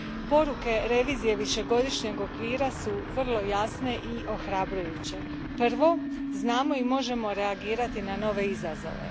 Poruke revizije višegodišnjeg okvira vrlo su jasne i ohrabrujuće. Prvo, znamo i možemo reagirati na nove izazove.